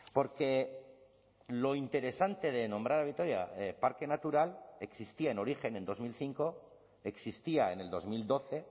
porque lo interesante de nombrar a vitoria parque natural existía en origen en dos mil cinco existía en el dos mil doce